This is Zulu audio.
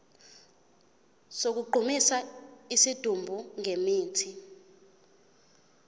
sokugqumisa isidumbu ngemithi